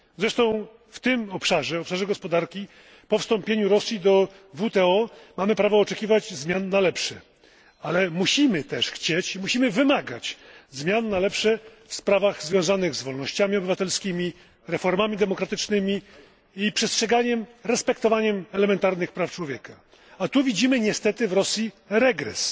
Zresztą w obszarze gospodarki po wstąpieniu Rosji do WTO mamy prawo oczekiwać zmian na lepsze, ale musimy też chcieć i wymagać zmian na lepsze w sprawach związanych z wolnościami obywatelskimi, reformami demokratycznymi i przestrzeganiem elementarnych praw człowieka, a tu widzimy niestety w Rosji regres.